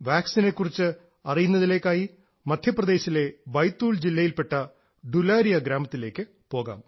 വാക്സിനെ കുറിച്ച് അറിയുന്നതിലേക്കായി മദ്ധ്യപ്രദേശിലെ ബൈത്തൂൽ ജില്ലയിൽപ്പെട്ട ഡുലാരിയാ ഗ്രാമത്തിലേക്കു പോകാം